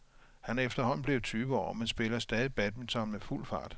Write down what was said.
Han er efterhånden blevet tyve år, men spiller stadig badminton med fuld fart.